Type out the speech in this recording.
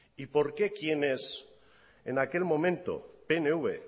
y por qué quienes en aquel momento pnv